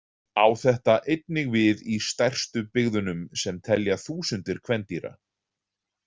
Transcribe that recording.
Á þetta einnig við í stærstu byggðunum sem telja þúsundur kvendýra.